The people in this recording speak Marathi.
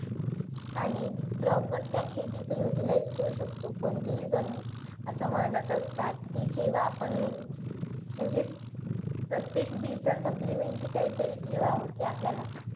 आणि proper त्या utilise करू शकतो कोणतीही जमीन. असं म्हणत असतात, की जेव्हा आपण म्हणजे प्रत्येक बी चं supplementary काहीतरी ठेवावं. की आपल्याला,